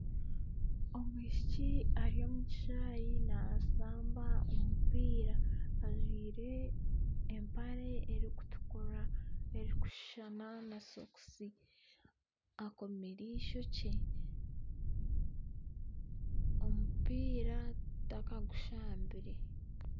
Omwishiki ari omu kishaayi naashamba omupiira ajwaire empare erikutukura erikushushana na sokusi akomire eishokye omupira takagushabire